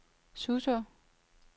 Suså